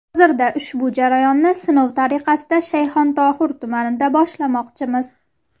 Hozirda ushbu jarayonni sinov tariqasida Shayxontohur tumanida boshlamoqchimiz.